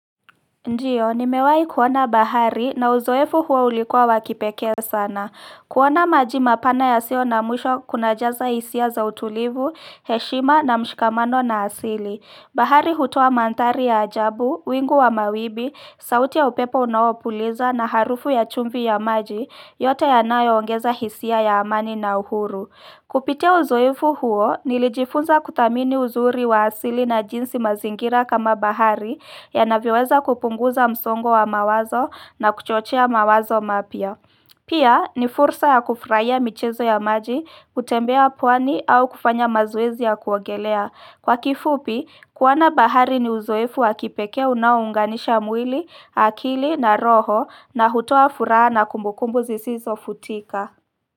Ndiyo, nimewahi kuona bahari na uzoefu huo ulikuwa wa kipekee sana. Kuona maji mapana yasiyo na mwisho kunajaza hisia za utulivu, heshima na mshikamano na asili. Bahari hutoa manthari ya ajabu, wingu wa mawimbi, sauti ya upepo unaopuliza na harufu ya chumvi ya maji yote yanayoongeza hisia ya amani na uhuru. Kupitia uzoefu huo nilijifunza kuthamini uzuri wa asili na jinsi mazingira kama bahari yanavyoweza kupunguza msongo wa mawazo na kuchochea mawazo mapya. Pia ni fursa ya kufrahia michezo ya maji, kutembea pwani au kufanya mazoezi ya kuogelea. Kwa kifupi, kuona bahari ni uzoefu wa kipekee unaounganisha mwili, akili na roho na hutoa furaha na kumbukumbu zisizo futika.